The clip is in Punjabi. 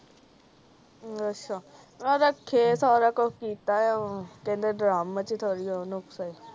ਅੱਛਾ ਰਾਖੇ ਸਾਰਾ ਕੁਛ ਕੀਤਾ ਆ ਕਹਿੰਦੇ ਡ੍ਰਮ ਚ ਥੋੜੀ